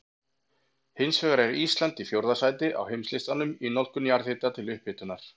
Hins vegar er Ísland í fjórða sæti á heimslistanum í notkun jarðhita til upphitunar.